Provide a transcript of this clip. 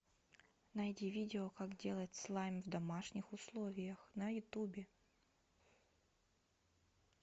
найди видео как делать слайм в домашних условиях на ютубе